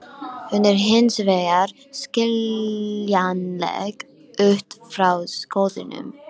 Hún er hins vegar skiljanleg út frá skoðunum.